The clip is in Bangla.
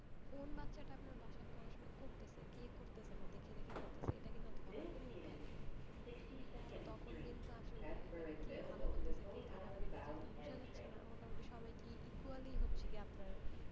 কোন বাচ্চাটা বাসায় পড়াশোনা করতেছে আর করতেছে না কে দেখে দেখে করছে এটা ধরার কিন্তু কোন উপায় নাই তো তখন কিন্তু আসলেই মানে কে ভালো করতেছে কে খারাপ এটা কিন্তু বোঝা যাচ্ছে না মোটামুটি সবাইকে equally আপনার,